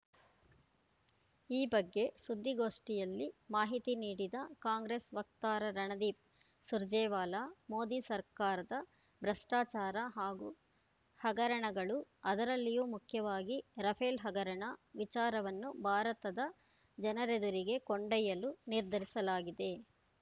ಈ ಬಗ್ಗೆ ಸುದ್ದಿಗೋಷ್ಠಿಯಲ್ಲಿ ಮಾಹಿತಿ ನೀಡಿದ ಕಾಂಗ್ರೆಸ್‌ ವಕ್ತಾರ ರಣದೀಪ್‌ ಸುರ್ಜೇವಾಲಾ ಮೋದಿ ಸರ್ಕಾರದ ಭ್ರಷ್ಟಾಚಾರ ಹಾಗೂ ಹಗರಣಗಳು ಅದರಲ್ಲಿಯೂ ಮುಖ್ಯವಾಗಿ ರಫೇಲ್‌ ಹಗರಣ ವಿಚಾರವನ್ನು ಭಾರತದ ಜನರೆದುರಿಗೆ ಕೊಂಡಯ್ಯಲು ನಿರ್ಧರಿಸಲಾಗಿದೆ